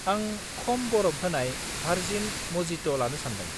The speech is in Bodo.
आं खम बरफ होनाय भारजिन मजिट' लानो सान्दों।